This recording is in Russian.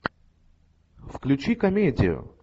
включи комедию